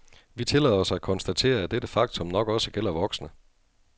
Vi tillader os at konstatere, at dette faktum nok også gælder voksne.